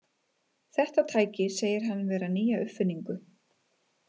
Þetta tæki segir hann vera nýja uppfinningu.